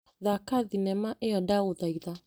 Thaka thinema ĩyo ndagũthaitha.